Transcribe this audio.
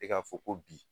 E k'a fɔ ko bi